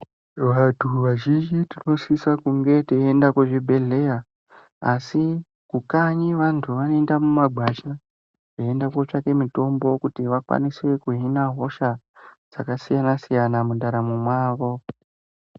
Vantu vazhinji tinosisa kunge teienda kuzvibhedhlera asi kukanyi vantu vanoenda mumagwasha veienda kotsvaka mitombo kuti vakwanise kuhina hosha dzakasiyana siyana mundaramo mawo.